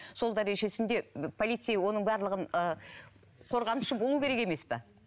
сол дәрежесінде полицей оның барлығын ы қорғанышы болуы керек емес пе